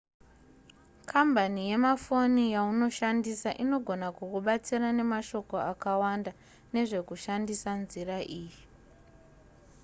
kambani yemafoni yaunoshandisa inogona kukubatsira nemashoko akawanda nezvekushandisa nzira iyi